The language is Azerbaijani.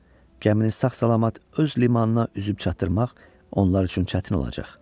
Gəmini sağ-salamat öz limanına üzüb çatdırmaq onlar üçün çətin olacaq.